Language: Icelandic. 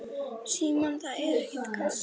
Símon: Það er ekkert kalt?